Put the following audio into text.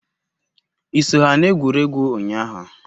I so ha n'egwurugwu unyahu?